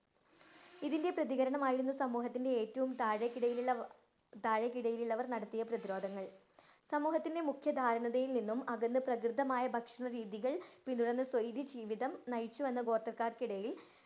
ഇതിന്‍റെ പ്രതീകരണമായിരുന്നു സമൂഹത്തിന്‍റെ ഏറ്റവും താഴെക്കിടയിലുള്ള താഴെക്കിടയിലുള്ളവര്‍ നടത്തിയ പ്രതിരോധങ്ങള്‍. സമൂഹത്തിന്‍റെ മുഖ്യ അകന്ന് പ്രാകൃതമായ ഭക്ഷണരീതികള്‍ പിന്തുടര്‍ന്ന് സ്വൈര്യജീവിതം നയിച്ചു വന്ന ഗോത്രക്കാര്‍ക്കിടയില്‍